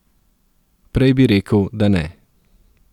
Prej bi rekel, da ne.